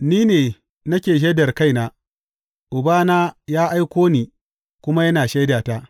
Ni ne nake shaidar kaina, Uba da ya aiko ni kuma yana shaidata.